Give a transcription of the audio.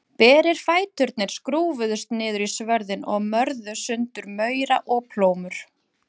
Berir fæturnir skrúfuðust niður í svörðinn og mörðu sundur maura og plómur.